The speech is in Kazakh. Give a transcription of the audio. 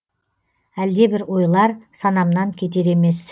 әлдебір ойлар санамнан кетер емес